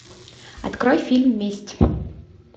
открой фильм месть